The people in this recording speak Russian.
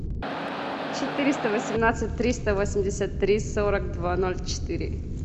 четыреста восемнадцать триста восемьдесят три сорок два ноль четыре